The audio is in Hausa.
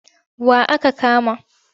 Wa aka kama?